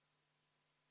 V a h e a e g